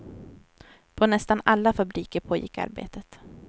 På nästan alla fabriker pågick arbetet.